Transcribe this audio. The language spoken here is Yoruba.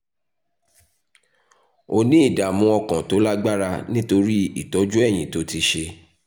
ó ní ìdààmú ọkàn tó lágbára nítorí ìtọ́jú eyín tó ti ṣe